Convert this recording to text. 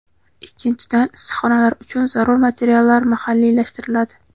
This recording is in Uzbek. Ikkinchidan, issiqxonalar uchun zarur materiallar mahalliylashtiriladi.